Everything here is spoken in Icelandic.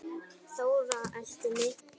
Þóra elti mig.